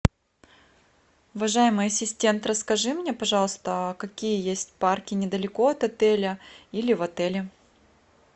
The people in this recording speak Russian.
уважаемый ассистент расскажи мне пожалуйста какие есть парки недалеко от отеля или в отеле